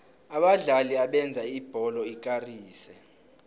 abadlali abenza ibholo ikarise